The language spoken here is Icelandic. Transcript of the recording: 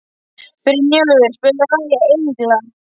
Brynjólfur, spilaðu lagið „Englar“.